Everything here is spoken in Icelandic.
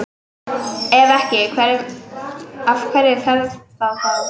Ef ekki, eftir hverju fer það þá?